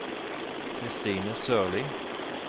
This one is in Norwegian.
Christine Sørlie